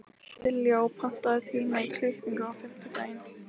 Dilja, pantaðu tíma í klippingu á fimmtudaginn.